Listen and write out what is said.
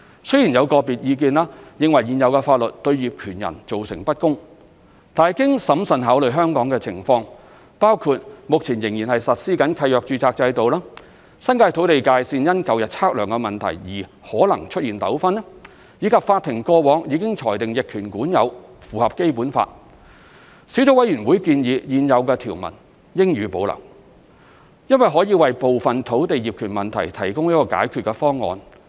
雖然有個別意見認為現有法律對業權人造成不公，但經審慎考慮香港的情況，包括目前仍實施契約註冊制度、新界土地界線因舊日測量問題而可能出現糾紛，以及法庭過往已裁定逆權管有符合《基本法》，小組委員會建議現有條文應予保留，因為可以為部分土地業權問題提供解決方案。